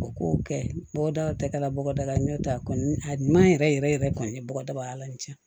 U k'o kɛ bɔgɔdaw tɛ kɛla bɔgɔdaga la n'o tɛ a kɔni a ɲuman yɛrɛ yɛrɛ kɔni ye bɔgɔdagalan in cɛn